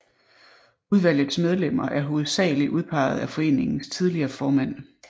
Udvalgets medlemmer er hovedsagelig udpeget af foreningens tidligere formænd